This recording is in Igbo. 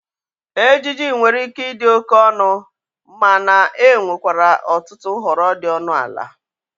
Ejiji nwere ike ịdị oke ọnụ, mana enwerekwa ọtụtụ nhọrọ dị ọnụ ala.